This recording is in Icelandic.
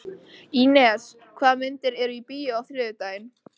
Ínes, hvaða myndir eru í bíó á þriðjudaginn?